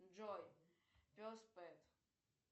джой пес пэт